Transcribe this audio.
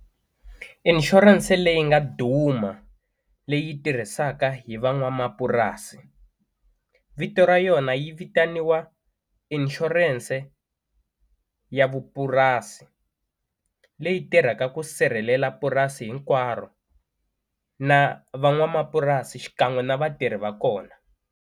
Inshurense leyi nga duma leyi tirhisaka hi van'wamapurasi vito ra yona yi vitaniwa inshurense ya vupurasi leyi tirhaka ku sirhelela purasi hinkwaro na van'wamapurasi xikan'we na vatirhi va kona.